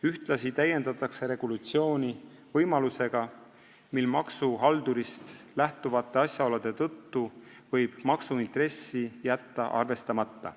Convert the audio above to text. Ühtlasi täiendatakse regulatsiooni võimalusega, et maksuhaldurist lähtuvate asjaolude tõttu võib maksuintressi jätta arvestamata.